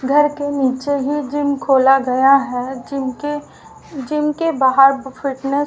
घर के नीचे ही जिम खोला गया है जिम के जिम के बाहर फिटनेस --